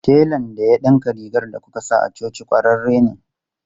Telan da ya dinka rigar da kuka sa a coci kwararre ne.